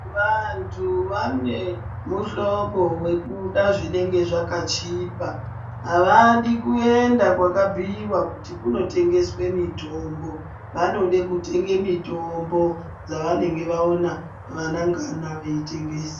Vantu vane muhlobo wekuda zvinenge zvakachipa, avadi kuenda kwakabhuyiwa kuti kunotengeswe mitombo. Vanode kutenga mutombo dzavanenge vaona ana ngana veitengesa.